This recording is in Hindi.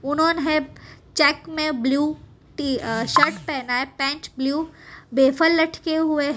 उन्होंने चेक में ब्ल्यू शर्ट पहना है पैंट ब्ल्यू लटके हुए है।